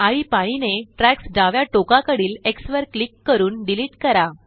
आळीपाळीने ट्रयाक्स डाव्या टोकाकडीलX वर क्लिक करूनडिलीट करा